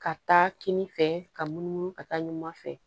Ka taa kini fɛ ka munumunu ka taa ɲuman fɛ